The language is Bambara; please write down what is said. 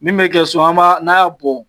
Min be kɛ so an ba n'a bɔn